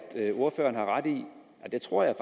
ordføreren har ret i og det tror jeg